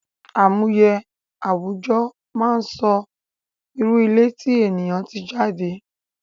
Àmúye àwùjọ máa ń sọ irú ilé tí ènìyàn tí jade